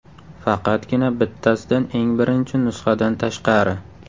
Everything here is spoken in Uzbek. Faqatgina bittasidan eng birinchi nusxadan tashqari.